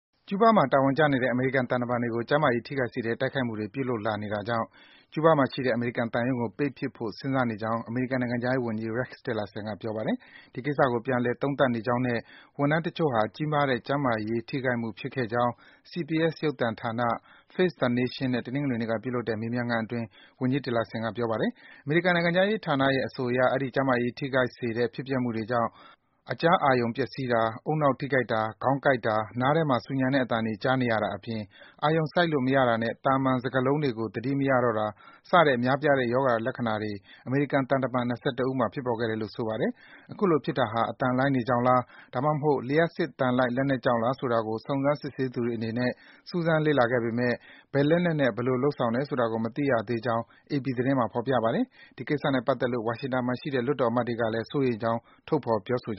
ကျူးဘားမှာ တာဝန်ကျနေတဲ့ အမေရိကန် သံမန်တွေကို ကျန်းမာရေး ထိခိုက်စေတဲ့ တိုက်ခိုက်မှုတွေ ပြုလုပ်လာနေတာကြောင့် ကျူးဘားမှာရှိတဲ့ အမေရိကန်သံရုံးကို ပိတ်ပစ်ဖို့ စဉ်းစားနေကြောင်း အမေရိကန်နိုင်ငံခြားရေးဝန်ကြီး Rex Tillerson က ပြောပါတယ်။ ဒီကိစ္စကို ပြန်လည် သုံးသပ်နေကြောင်းနဲ့ ဝန်ထမ်းတချို့ဟာ ကြီးမားတဲ့ ကျန်းမာရေး ထိခိုက်မှုဖြစ်ခဲ့ကြောင်း CBS ရုပ်သံဌာန Face the Nation နဲ့ တနင်္ဂနွေနေ့က ပြုလုပ်တဲ့ မေးမြန်းခန်းအတွင်း ဝန်ကြီး Tillerson က ပြောပါတယ်။ အမေရိကန်နိုင်ငံခြားရေးဌာနရဲ့ အဆိုအရ အဲဒီ ကျန်းမာရေး ထိခိုက်စေတဲ့ ဖြစ်ပျက်မှုတွေကြောင့် အကြားအာရုံ ပျက်ဆီးတာ၊ ဦးနှောက် ထိခိုက်တာ၊ ခေါင်းကိုက်တာ၊ နားထဲမှာ ဆူညံတဲ့အသံတွေ ကြားနေရတာအပြင် အာရုံစိုက်လို့မရတာနဲ့ သာမှန် စကားလုံးတွေကို သတိမရတော့တာ စတဲ့ များပြားတဲ့ ရောဂါလက္ခဏာတွေ အမေရိကန် သံတမန် ၂၁ ဦးမှာ ဖြစ်ပေါ်ခဲ့တယ်လို ဆိုပါတယ်။ အခုလို ဖြစ်တာဟာ အသံလှိုင်းတွေကြောင့်လား၊ ဒါမှမဟုတ် လျှပ်စစ် သံလိုက် လက်နက်ကြောင့်လား ဆိုတာကို စုံစမ်း စစ်ဆေးသူတွေအနေနဲ့ စူးစမ်း လေ့လာခဲ့ပေမယ့်လည်း ဘယ်လက်နက်နဲ့ ဘယ်လို လုပ်ဆောင်တယ်ဆိုတာကို မသိရသေးကြောင်း အေပီ သတင်းမှာ ဖော်ပြထားပါတယ်။ ဒီကိစ္စနဲ့ပတ်သက်လို့ ဝါရှင်တန်မှာရှိတဲ့ လွှတ်တော်အမတ်တွေကလည်း စိုးရိမ်ကြောင်း ထုတ်ဖော် ပြောဆိုက